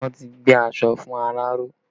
Wọn ti gbé aṣọ fún aláró